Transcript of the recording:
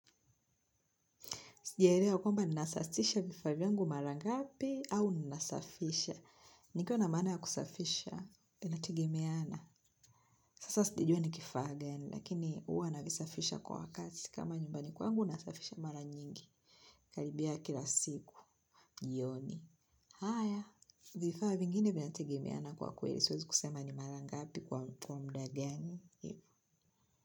Sijaelewa kwamba ninasasisha vifaa vyangu mara ngapi au ninasafisha. Nikiwa na maana ya kusafisha, inategemeana. Sasa sijajua ni kifaa gani, lakini huwa navisafisha kwa wakati. Kama nyumbani kwangu, nasafisha mara nyingi. Karibia kila siku, jioni. Haya, vifaa vingine vina tegemeana kwa kweli. Siwezi kusema ni mara ngapi kwa muda gani.